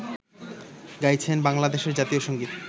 গাইছেন বাংলাদেশের জাতীয় সঙ্গীত